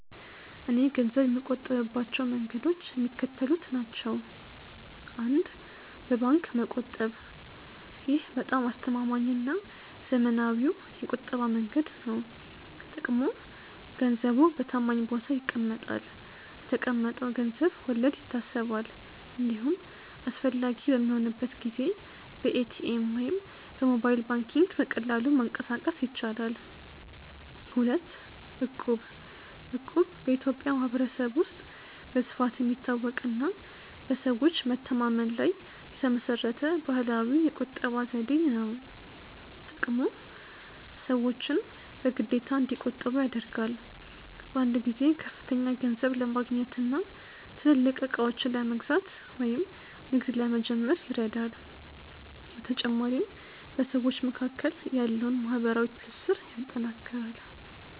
.እኔ ገንዘብ የምቆጥብባቸው መንገዶች የሚከተሉት ናቸው፦ 1. በባንክ መቆጠብ: ይህ በጣም አስተማማኝና ዘመናዊው የቁጠባ መንገድ ነው። ጥቅሙ፦ ገንዘቡ በታማኝ ቦታ ይቀመጣል፤ ለተቀመጠው ገንዘብ ወለድ ይታሰባል፤ እንዲሁም አስፈላጊ በሚሆንበት ጊዜ በኤቲኤም ወይም በሞባይል ባንኪንግ በቀላሉ ማንቀሳቀስ ይቻላል። 2. እቁብ: እቁብ በኢትዮጵያ ማኅበረሰብ ውስጥ በስፋት የሚታወቅና በሰዎች መተማመን ላይ የተመሠረተ ባህላዊ የቁጠባ ዘዴ ነው። ጥቅሙ፦ ሰዎችን በግዴታ እንዲቆጥቡ ያደርጋል። በአንድ ጊዜ ከፍተኛ ገንዘብ ለማግኘትና ትልልቅ ዕቃዎችን ለመግዛት ወይም ንግድ ለመጀመር ይረዳል። በተጨማሪም በሰዎች መካከል ያለውን ማኅበራዊ ትስስር ያጠናክራል።